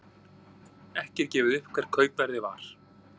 Ekki er gefið upp hvert kaupverðið er.